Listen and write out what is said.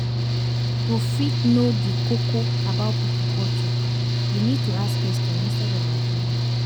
To fit know di koko about pipo culture we need to ask question instead of assuming